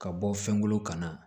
Ka bɔ fɛn kolo kana